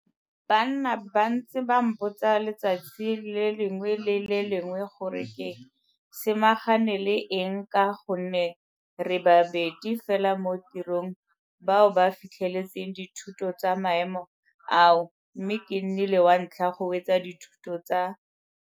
Ba nna ba ntse ba mpotsa letsatsi le lengwe le le lengwe gore ke samagane le eng ka gonne re babedi fela mo tirong bao ba fitlheletseng dithuto tsa maemo ao mme ke nnile wa ntlha go wetsa dithuto tsa.